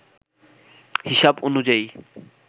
হিসাব অনুযায়ী